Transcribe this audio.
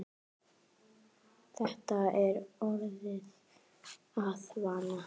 Þetta er orðið að vana.